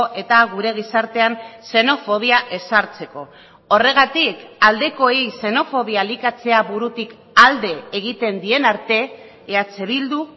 eta gure gizartean xenofobia ezartzeko horregatik aldekoei xenofobia elikatzea burutik alde egiten dien arte eh bildu